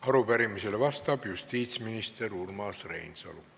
Arupärimisele vastab justiitsminister Urmas Reinsalu.